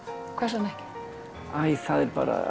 hvers vegna ekki æi það er bara